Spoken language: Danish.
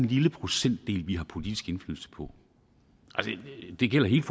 lille procentdel som vi har politisk indflydelse på det gælder hele